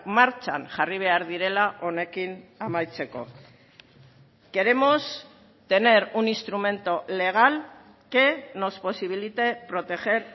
martxan jarri behar direla honekin amaitzeko queremos tener un instrumento legal que nos posibilite proteger